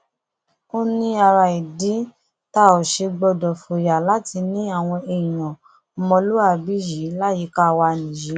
ó ní ara ìdí tá ò ṣe gbọdọ fòyà láti ní àwọn èèyàn ọmọlúàbí yìí láyìíká wa nìyí